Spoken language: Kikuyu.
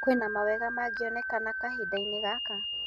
Kwĩna mawega magĩoneka kahindainĩ gaka